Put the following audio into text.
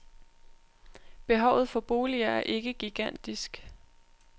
Behovet for boliger er ikke gigantisk.